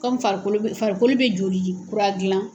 Komi farikolo bɛ farikolo bɛ joliji kura gilan